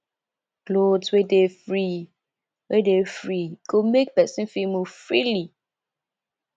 cloth wey dey free wey dey free go make person fit move freely